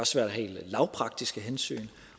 svært af helt lavpraktiske hensyn